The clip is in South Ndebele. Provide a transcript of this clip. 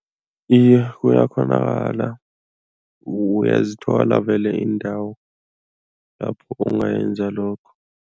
Iye, kuyakghonakala uyazithola vele iindawo lapho ungayenza lokho.